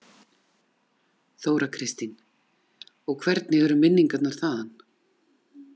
Þóra Kristín: Og hvernig eru minningarnar þaðan?